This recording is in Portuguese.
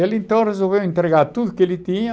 Ele então resolveu entregar tudo o que ele tinha